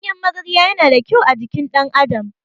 Ganyen magarya yana da ƙyau a jikin ɗan adam